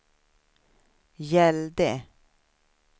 gällde